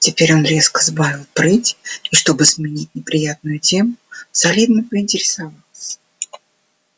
теперь он резко сбавил прыть и чтобы сменить неприятную тему солидно поинтересовался